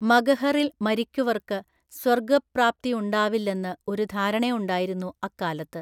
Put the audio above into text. മഗഹറില്‍ മരിക്കുവർക്ക് സ്വർഗ്ഗപ്രാപ്തിയുണ്ടാവില്ലെന്ന് ഒരു ധാരണയുണ്ടായിരുന്നു അക്കാലത്ത്.